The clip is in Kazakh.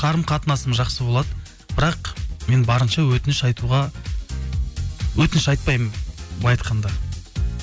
қарым қатынасым жақсы болады бірақ мен барынша өтініш айтуға өтініш айтпаймын былай айтқанда